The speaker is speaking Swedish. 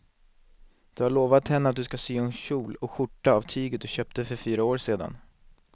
Du har lovat henne att du ska sy en kjol och skjorta av tyget du köpte för fyra år sedan.